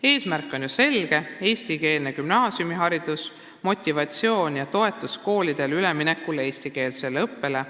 Eesmärk on ju selge: eestikeelne gümnaasiumiharidus, motivatsioon ja koolide toetamine üleminekul eestikeelsele õppele.